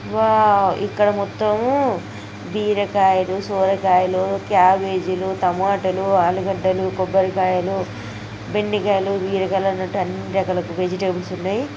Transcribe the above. wow ఇక్కడ మొత్తం బీరకాయలు సొరకాయలు కాబేజీ లు టమాటిలు ఆలగడ్డలు కొబ్బరికాయలు వెండిగాయలు బీరకాయలు అన్నీ రకాల వెజిటెబుల్స్ ఉన్నాయి